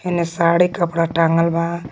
हेने साड़ी कपड़ा टांगल बा।